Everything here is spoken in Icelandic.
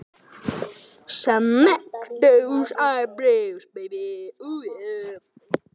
Flestir eru með hár yfir augunum.